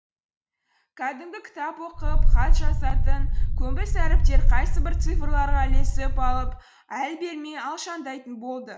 кәдімгі кітап оқып хат жазатын көнбіс әріптер қайсыбір цифрларға ілесіп алып әл бермей алшаңдайтын болды